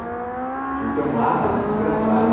Aquilo tem um ácido desgraçado.